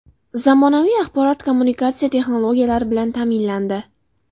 Zamonaviy axborot kommunikatsiya texnologiyalari bilan ta’minlandi.